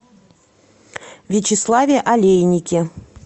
вячеславе олейнике